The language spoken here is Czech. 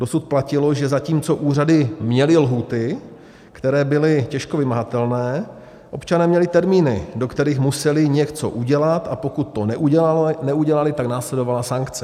Dosud platilo, že zatímco úřady měly lhůty, které byly těžko vymahatelné, občané měli termíny, do kterých museli něco udělat, a pokud to neudělali, tak následovala sankce.